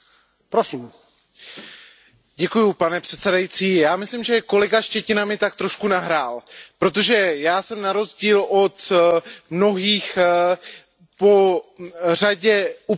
Pane předsedající, já myslím, že kolega Štětina mi tak trochu nahrál, protože já jsem na rozdíl od mnohých po řadě uprchlických táborů skutečně jezdil.